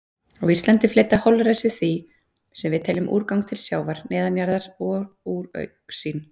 Á Íslandi fleyta holræsi því sem við teljum úrgang til sjávar, neðanjarðar og úr augsýn.